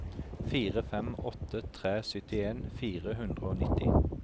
fire fem åtte tre syttien fire hundre og nitti